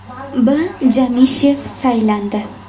B. Jamishev saylandi.